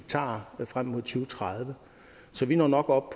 frem mod to tusind tredive så vi når nok op